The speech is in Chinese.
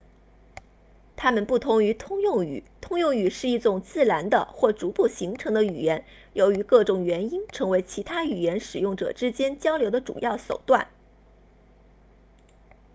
他们不同于通用语通用语是一种自然的或逐步形成的语言由于各种原因成为其他语言使用者之间交流的主要手段